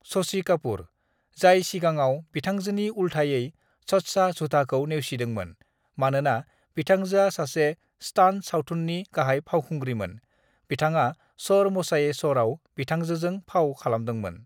"ससि कपुर, जाय सिगाङाव बिथांजोनि उलथायै सच्चा झूठाखौ नेवसिदोंमोन, मानोना बिथांजोआ सासे "स्टान्ट-सावथुननि गाहाय फावखुंग्रिमोन, बिथाङा चोर मचाए शोरआव बिथांजोजों फाव खालामदोंमोन।"